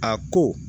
A ko